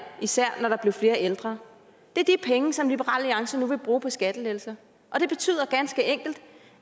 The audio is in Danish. især når der blev flere ældre det er de penge som liberal alliance nu vil bruge på skattelettelser og det betyder ganske enkelt